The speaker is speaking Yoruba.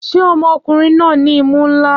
Ṣé ọmọkùnrin náà ní imú ńlá?